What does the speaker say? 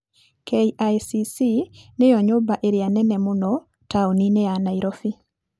KICC nĩyo nyũmba ĩrĩa nene mũno taũni-inĩ ya Nairobi.